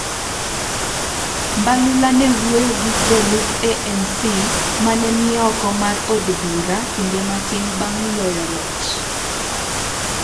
Mbalula ne wuoyo gi jolup ANC ma ne ni oko mar od bura kinde matin bang ' loyo loch.